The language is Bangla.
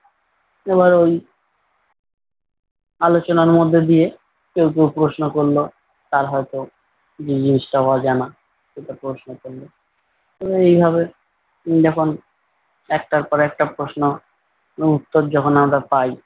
আলোচনার মধ্যে দিয়ে কেউ কেউ প্রশ্ন করলো। তার হয়তো যে জিনিসটা অজানা সেটা প্রশ্ন করলো এবং এইভাবে যখন একটার পর একটা প্রশ্ন এবং উত্তর যখন আমরা পাই,